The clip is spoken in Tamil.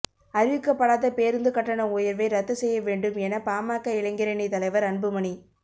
அறிவிக்கப்படாத பேருந்து கட்டண உயர்வை ரத்து செய்ய வேண்டும் என பாமக இளைஞரணி தலைவர் அன்புமணி